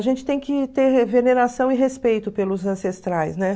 A gente tem que ter veneração e respeito pelos ancestrais, né?